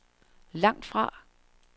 langtfra